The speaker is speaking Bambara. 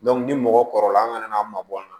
ni mɔgɔ kɔrɔla an kana n'a mabɔ an na